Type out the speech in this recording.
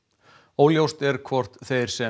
óljóst er hvort þeir sem